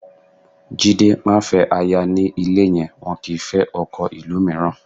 Jide, má fẹ́ aya ní ilé yẹn, wọn kì í fẹ́ ọkọ ìlú mìíràn